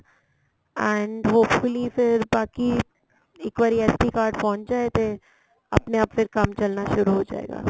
and hopefully ਫੇਰ ਬਾਕੀ ਇੱਕ ਵਾਰੀ SD card ਪਹੁੰਚ ਜਾਏ ਤੇ ਆਪਣੇ ਆਪਣੇ ਕੰਮ ਚੱਲਣਾ ਸ਼ੁਰੂ ਹੋਜਾਏਗਾ